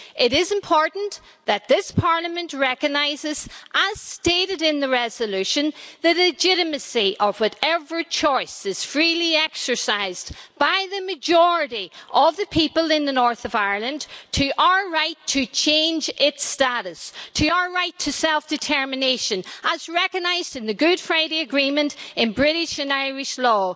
It is important that this Parliament recognises, as stated in the resolution, the legitimacy of whatever choice is freely exercised by the majority of the people in the north of Ireland as to our right to change its status, our right to self determination as recognised in the Good Friday Agreement in British and Irish law.